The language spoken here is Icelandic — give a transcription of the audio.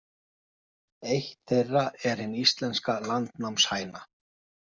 Eitt þeirra er hin íslenska landnámshæna.